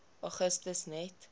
augustus net